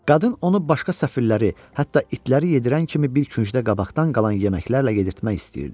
Qadın onu başqa səfirləri, hətta itləri yedirən kimi bir küncdə qabaqdan qalan yeməklərlə yedirtmək istəyirdi.